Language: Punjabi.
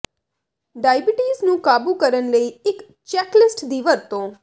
ਡਾਇਬੀਟੀਜ਼ ਨੂੰ ਕਾਬੂ ਕਰਨ ਲਈ ਇਕ ਚੈੱਕਲਿਸਟ ਦੀ ਵਰਤੋਂ